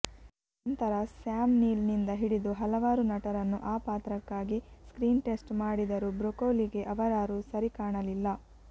ನಂತರ Sam Neill ನಿಂದ ಹಿಡಿದು ಹಲವಾರು ನಟರನ್ನು ಆ ಪಾತ್ರಕ್ಕಾಗಿ ಸ್ಕ್ರೀನ್ ಟೆಸ್ಟ್ ಮಾಡಿದರೂ ಬ್ರೋಕೋಲಿಗೆ ಅವರಾರೂ ಸರಿಕಾಣಲಿಲ್ಲ